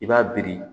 I b'a biri